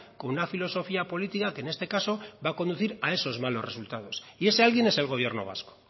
con una filosofía política que en este caso va a conducir a esos malos resultados y ese alguien es el gobierno vasco